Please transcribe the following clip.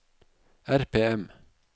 RPM